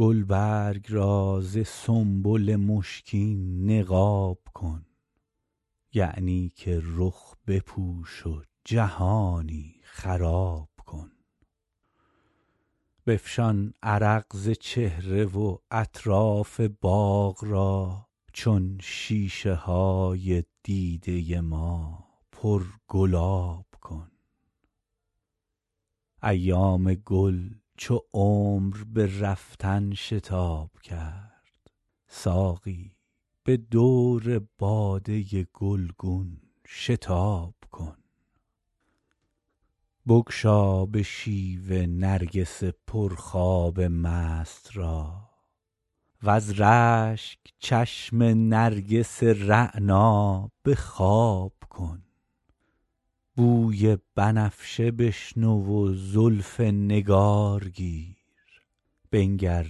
گلبرگ را ز سنبل مشکین نقاب کن یعنی که رخ بپوش و جهانی خراب کن بفشان عرق ز چهره و اطراف باغ را چون شیشه های دیده ما پرگلاب کن ایام گل چو عمر به رفتن شتاب کرد ساقی به دور باده گلگون شتاب کن بگشا به شیوه نرگس پرخواب مست را وز رشک چشم نرگس رعنا به خواب کن بوی بنفشه بشنو و زلف نگار گیر بنگر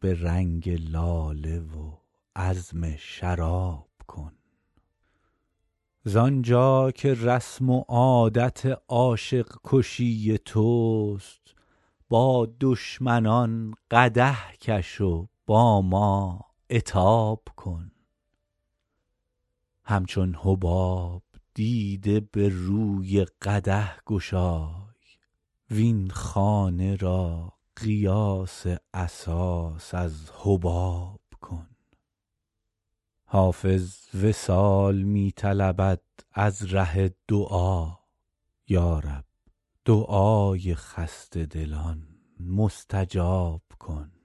به رنگ لاله و عزم شراب کن زآن جا که رسم و عادت عاشق کشی توست با دشمنان قدح کش و با ما عتاب کن همچون حباب دیده به روی قدح گشای وین خانه را قیاس اساس از حباب کن حافظ وصال می طلبد از ره دعا یا رب دعای خسته دلان مستجاب کن